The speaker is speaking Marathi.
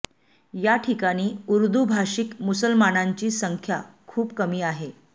या ठिकाणी उर्दू भाषिक मुसलमानांची संख्या खूप कमी आहे